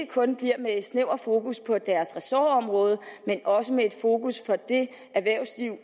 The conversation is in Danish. kun bliver med et snævert fokus på deres ressortområde men også med et fokus på det erhvervsliv